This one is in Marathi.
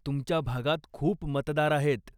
तुमच्या भागात खूप मतदार आहेत.